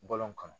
Bɔlɔn kɔnɔ